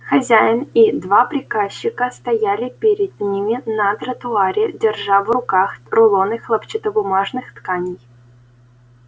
хозяин и два приказчика стояли перед ними на тротуаре держа в руках рулоны хлопчатобумажных тканей